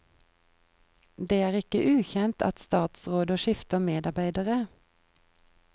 Det er ikke ukjent at statsråder skifter medarbeidere.